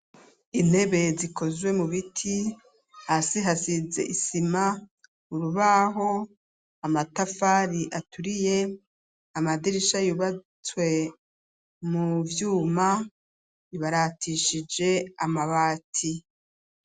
Intebe, zikozwe mu biti, hasi hasize isima, urubaho, amatafari aturiye, amadirisha yubatswe mu vyuma, ibaratishije amabati.